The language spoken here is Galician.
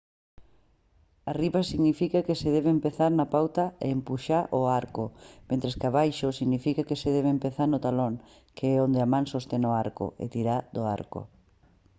arriba significa que se debe empezar na punta e empuxar o arco mentres que abaixo significa que se debe empezar no talón que é onde a man sostén o arco e tirar do arco